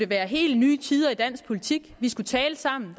være helt nye tider i dansk politik vi skulle tale sammen